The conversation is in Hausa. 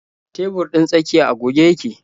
Tebur ɗin tsakiya a goge yake.